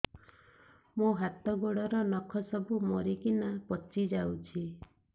ମୋ ହାତ ଗୋଡର ନଖ ସବୁ ମରିକିନା ପଚି ଯାଉଛି